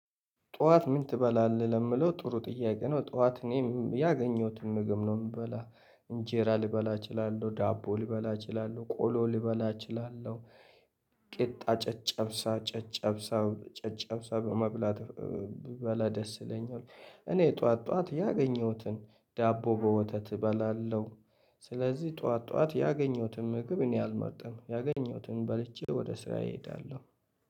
ጧት ምን ትበላለህ ለሚለው ጥሩ ጥያቄ ነው? ጧት እኔ ያገኘሁትን ምግብ ነው የምበላው እንጀራ ልበላ እችላለሁ ዳቦ ልበላ እችላለሁ ቆሎ ልበላ እችላለሁ ቂጣ ጨጨብሳ ጨጨብሳ በመብላት ብበላ ደስ ይለኛል። እኔ ጠዋት ጠዋት ያገኘሁትን ዳቦ በወተት እበላለሁ። ስለዚህ ጠዋት ጠዋት ያገኘሁትን ምግብ እኔ አልመርጥም ያገኘሁትን በልቼ ወደ ስራ እሄዳለሁ